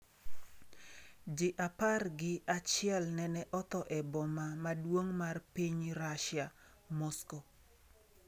Ji apar gi achiel nene otho e boma maduong' mar piny Russia, Moscow